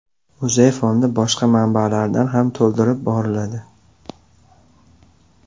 Muzey fondi boshqa manbalardan ham to‘ldirib boriladi.